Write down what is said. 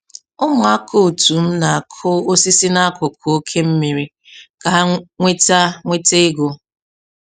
Ụmụaka otu m na-akụ osisi n'akụkụ ókè mmiri ka ha nweta nweta ego.